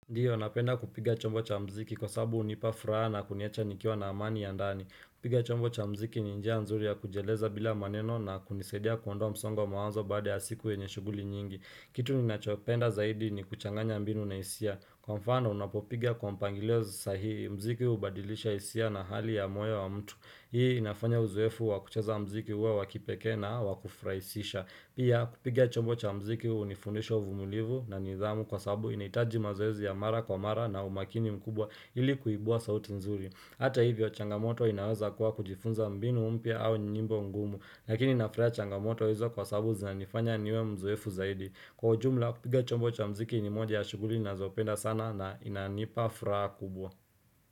Ndio, napenda kupiga chombo cha mziki kwa sababu hunipafuraha na kuniacha nikiwa na amani ya ndani kupiga chombo cha mziki ni njia nzuri ya kujieleza bila maneno, na kunisaidia kuondoa msongo wa mawazo baada ya siku yenye shughuli nyingi Kitu ninachopenda zaidi ni kuchanganya mbinu na hisia. Kwa mfano, unapopiga kwa mpangilio sahihi, mziki hubadilisha hisia na hali ya moyo wa mtu Hii inafanya uzoefu wa kucheza mziki uwe wa kipekee na wa kufurahisha Pia, kupiga chombo cha mziki hunifundisha uvumulivu na nidhamu, kwa sababu inahitaji mazoezi ya mara kwa mara na umakini mkubwa ili kuibua sauti nzuri Hata hivyo changamoto inaweza kuwa, kujifunza mbinu mpya au nyimbo ngumu lakini na furahia changamoto hizo kwa sabu zinanifanya niwe mzoefu zaidi Kwa ujumla, kupiga chombo cha mziki ni moja ya shughuli ninazopenda sana na inanipa furaha kubwa.